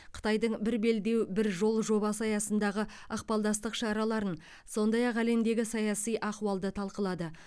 қытайдың бір белдеу бір жол жобасы аясындағы ықпалдастық шараларын сондай ақ әлемдегі саяси ахуалды талқылады